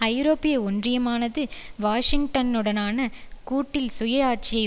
ஐரோப்பிய ஒன்றியமானது வாஷிங்டனுடனான கூட்டில் சுயாட்சியை